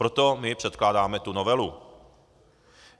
Proto my předkládáme tu novelu.